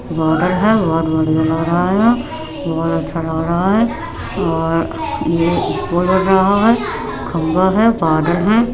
Border है। बहोत बढ़िया लग रहा हैं। बहोत अच्छा लग रहा है और ये खंबा है बादल है।